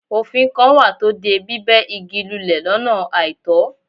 Òfin kan wà tó de bíbẹ̀ igi lulẹ̀ lọ́nà àìtọ́.